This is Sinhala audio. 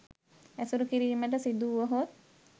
ඇසුරු කිරීමට සිදුවුවහොත්